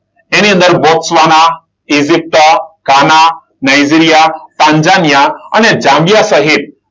એની અંદર, Botswana, Egypt, Ghana, Nigeria, Tanzania, અને Zambia સહિત